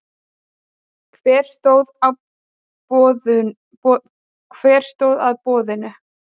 Hver stóð að boðuninni?